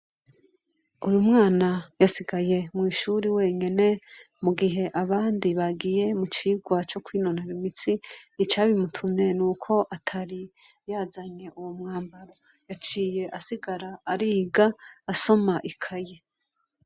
Uyu mwana yasigaye mw' ishuri wenyene, mu gihe abandi bagiye mu cigwa co kwinonora imitsi. Icabimutumye, n'uko atari yazanye uwo mwambaro, yaciye asigara ariga, asoma ikaye.